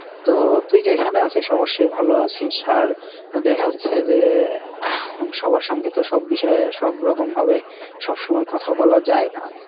তো তুই যেইখানে আছিস অবশ্যই ভালো আছিস আর দেখা হচ্ছে যে আর সবার সঙ্গে তো সব বিষয়ে সব রকম ভাবে সবসময় কথা বলা যায়না।